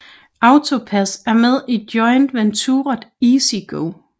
AutoPASS er med i joint venturet EasyGo